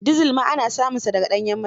Dizal ma ana samunsa da ga ɗanyen mai.